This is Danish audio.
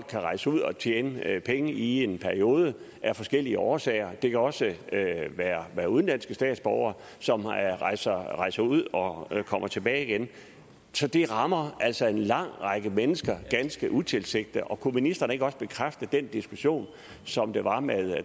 kan rejse ud og tjene penge i en periode af forskellige årsager det kan også være udenlandske statsborgere som rejser rejser ud og kommer tilbage igen så det rammer altså en lang række mennesker ganske utilsigtet kunne ministeren ikke også bekræfte den diskussion som der var med